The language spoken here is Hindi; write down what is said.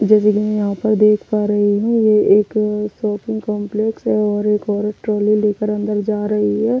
जैसे कि मैं यहां पर देख पा रही हूं ये एक शॉपिंग कॉम्प्लेक्स है और एक औरत ट्रॉली लेकर अंदर जा रही है।